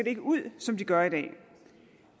ikke ud som de gør i dag